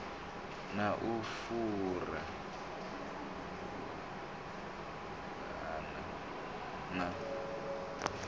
na u fhura vhuvhava na